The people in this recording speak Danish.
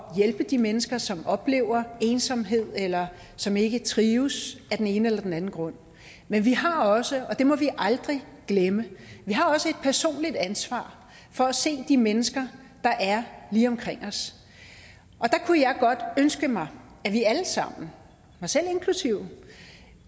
hjælpe de mennesker som oplever ensomhed eller som ikke trives af den ene eller den anden grund men vi har også og det må vi aldrig glemme et personligt ansvar for at se de mennesker der er lige omkring os og der kunne jeg godt ønske mig at vi alle sammen mig selv inklusive